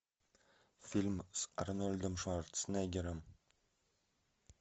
фильм с арнольдом шварценеггером